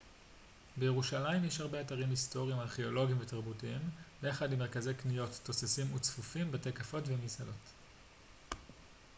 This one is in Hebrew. בירושלים יש הרבה אתרים היסטוריים ארכאולוגיים ותרבותיים ביחד עם מרכזי קניות תוססים וצפופים בתי קפה ומסעדות